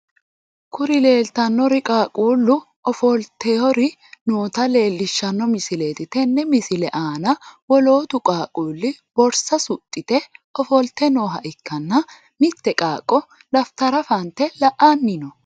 Kuri leeltannori qaaqquullu ofoltr noota leellishshano misileeti tenne misile aana woloottu qaaqquulli borsa suxxite ofolte nooha ikkanna mitte qaaqqo dafitara fante la'anni no.